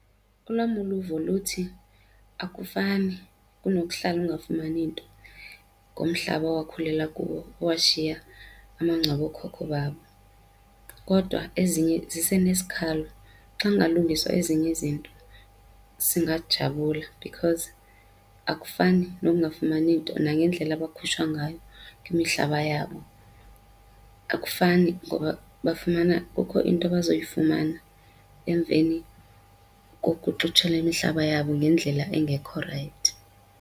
Olwam uluvo luthi akufani kunokuhlala ungafumani nto ngomhlaba owakhulela kuwo, owashiya amangcwaba ookhokho bakho, kodwa ezinye sisenesikhalo. Xa kungalungiswa ezinye izinto singajabula because akufani nokungafumani nto, nangendlela abakhutshwa ngayo kwimihlaba yabo. Akufani ngoba kukho into abazoyifumana emveni kokuxuthelwa imihlaba yabo ngendlela engekho rayithi.